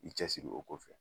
I cɛsiri o kɔfɛ